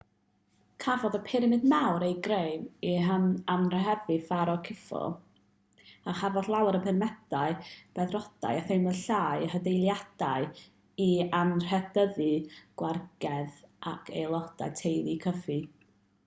cafodd y pyramid mawr ei greu i anrhydeddu'r pharo khufu a chafodd llawer o'r pyramidiau beddrodau a themlau llai eu hadeiladu i anrhydeddu gwragedd ac aelodau teulu khufu